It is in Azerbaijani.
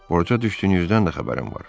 Borca düşdüyünüzdən də xəbərim var.